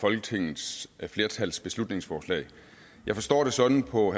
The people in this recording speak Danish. folketingets flertals beslutningsforslag at jeg forstår det sådan på